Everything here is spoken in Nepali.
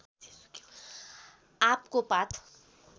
आँपको पात